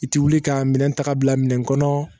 I ti wuli ka minɛn ta ka bila minɛn kɔnɔ